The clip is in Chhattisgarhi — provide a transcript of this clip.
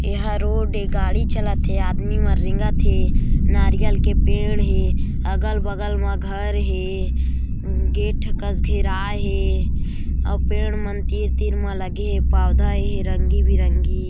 ऐ हा रोड ए गाड़ी चालत थे आदमी मन रेंगत हे नारियल के पेड़ हे अगल-बगल मा घर हे गेट कस घेराय हे अउ पेड़ मन तीर-तीर मा लगे पौधा हे रंगी-बिरंगी--